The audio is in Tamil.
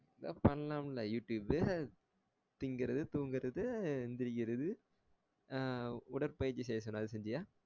எதாவது பண்ணலாம்ல youtube பு திங்குறது தூங்குறது அஹ் எந்திரிக்குறது அஹ் உடற்பயிற்சி செய்ய சொன்னேன் அத செஞ்சியா